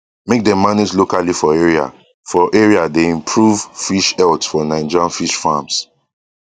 make dem manage locally for area for area dey improve fish health for nigerian fish farms